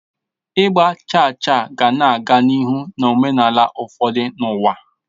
Ịgba chaa chaa ka na-aga n'ihu na omenala ụfọdụ n'ụwa.